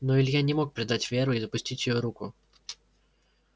но илья не мог предать веру и отпустить её руку